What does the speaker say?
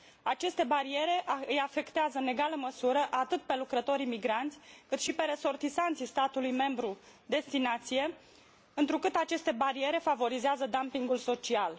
Aceste bariere îi afectează în egală măsură atât pe lucrătorii migranți, cât și pe resortisanții statului membru destinație, întrucât aceste bariere favorizează dumpingul social.